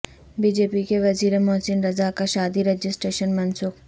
B J پی کے وزیر محسن رضا کا شادی رجسٹریشن منسوخ